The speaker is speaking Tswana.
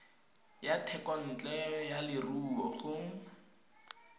ya thekontle ya leruo go